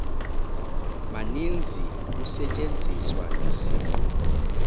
maninzi kusetyenziswa isiqu